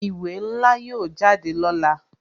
Ìwé ńlá yóò jáde lọ́la